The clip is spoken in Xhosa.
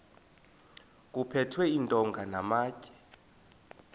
kuphethwe iintonga namatye